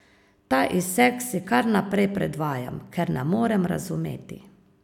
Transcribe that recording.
Ta izsek si kar naprej predvajam, ker ne morem razumeti.